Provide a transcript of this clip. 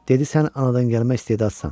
Dedi sən anadan gəlmə istedadsan.